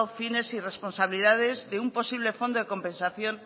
fines y responsabilidades de un posible fondo de compensación